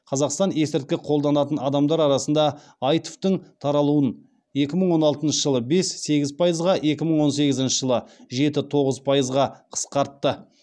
қазақстан есірткі қолданатын адамдар арасында аитв тің таралыуын екі мың он алтыншы жылы бес сегіз пайызға екі мың он сегізінші жылы жеті тоғыз пайызға қысқартты